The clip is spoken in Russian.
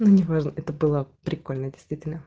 ну неважно это было прикольно действительно